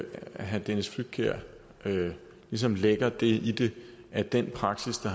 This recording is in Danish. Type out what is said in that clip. herre dennis flydtkjær ligesom lægger det i det at den praksis der